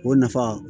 O nafa